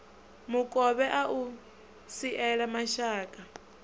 mukovhe a u siela mashaka